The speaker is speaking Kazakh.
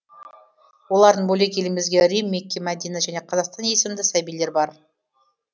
олардын бөлек елімізде рим мекке мәдина және қазақстан есімді сәбилер бар